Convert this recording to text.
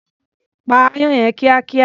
Pa aáyán yẹn kíákíá.